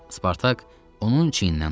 Spartak onun çiynindən tutdu.